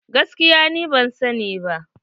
Gaskiya ni ma ban sani ba.